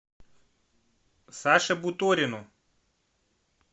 саше буторину